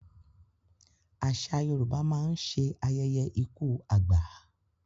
Àṣà Yorùbá mán nṣe ayẹyẹ ikú àgbà